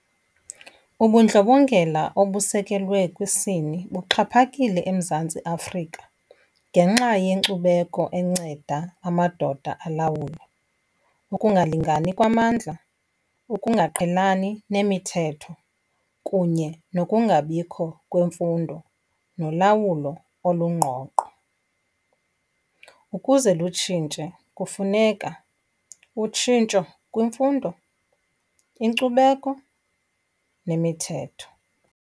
Ubundlobongela obusekelwe kwisini buxhaphakile eMzantsi Afrika ngenxa yenkcubeko enceda amadoda alawule, ukungalingani kwamandla, ukungaqhelani nemithetho kunye nokungabikho kwemfundo nolawulo olungqongqo. Ukuze lutshintshe kufuneka utshintsho kwimfundo, inkcubeko nemithetho.